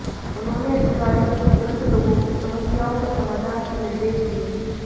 उन्होंने अधिकारियों को तुरंत लोगों की समस्याओं के समाधान के निर्देश दिए